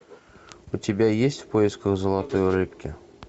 у тебя есть в поисках золотой рыбки